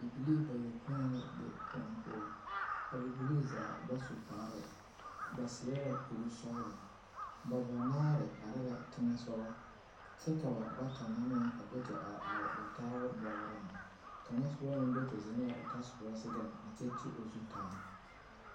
Bibilii bayoɔpoe la be kõɔ poɔ a bibilii zaa ba su kpare ba seɛ la kursɔɡelɔ ba banaare are la teŋɛ soɡa kyɛ ka ba banaare do te are ba taaba bɔɡɔŋ kaŋa soba meŋ do te zeŋ la o tasoba zeŋɛŋ a teɛ o zu taa.